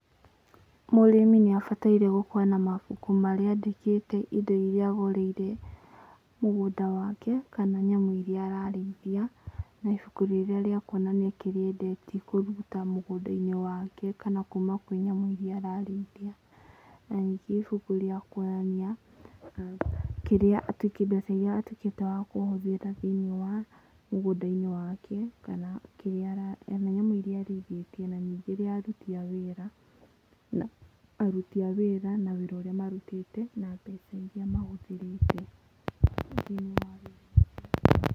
Mũrĩmi nĩ abataire gũkorwo na mabuku marĩa andĩkĩte indo iria agũrĩire mũgũnda wake, kana nyamũ iria ararĩithia. Na ibuku rĩrĩa rĩa kuonania kĩrĩa endetie kũruta mũgũnda-inĩ wake kana kuma kwĩ nyamũ iria ararĩithia. Na ningĩ ibuku rĩa kuonania kĩria, kĩrĩa atuĩkĩte wakũhũthĩra thĩiniĩ wa mũgũnda-inĩ wake, kana nyamũ iria arĩithĩtie. Na ningĩ ria aruti a wĩra, na wĩra ũrĩa marutĩte, na mbeca iria mahũthĩrĩte.